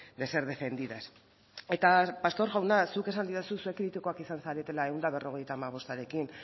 de ser defendidas eta pastor jauna zuk esan didazu zuek kritikoak izan zaretela ehun eta berrogeita hamabostarekin